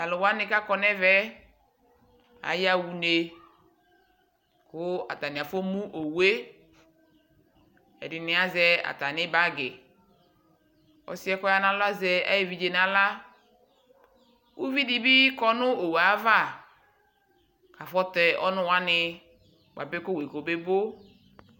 Tʋ alʋ wanɩ kʋ akɔ nʋ ɛvɛ, ayaɣa une kʋ atanɩ afɔmu owu yɛ Ɛdɩnɩ azɛ atamɩ bagɩ Ɔsɩ yɛ kʋ ɔya nʋ alɔ azɛ ayʋ evidze yɛ nʋ aɣla Uvi dɩ bɩ kɔ nʋ owu ava kʋ afɔtɛ ɔnʋ wanɩ bʋapɛ kʋ owu yɛ kɔbebo